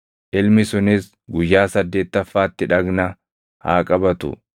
Ilmi sunis guyyaa saddeettaffaatti dhagna haa qabatu.